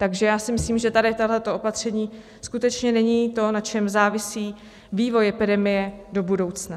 Takže já si myslím, že tady tohle opatření skutečně není to, na čem závisí vývoj epidemie do budoucna.